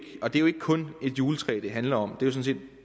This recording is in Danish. kun et juletræ det handler om